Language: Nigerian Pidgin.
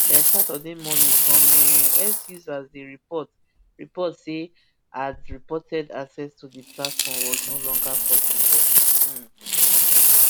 by saturday morning some um x users dey report report say had reported access to the platform was no longer possible um